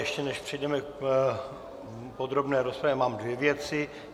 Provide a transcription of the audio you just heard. Ještě než přejdeme k podrobné rozpravě, mám dvě věci.